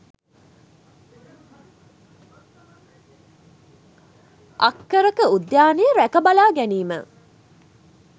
අක්කර ක උද්‍යානය රැකබලා ගැනීම